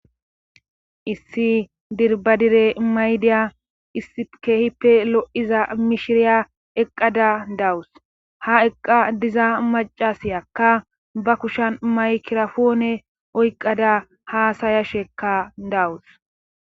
Issi dirbadire maydiya issi kehippe lo7iza mishiriya eqqada dawus ha eqqa diza macasiyakka ba kushan maykirafoone oyqqada haasayashuekka dawus.